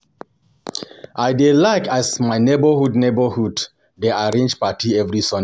I dey like as my neborhood neborhood dey arrange party every Sunday.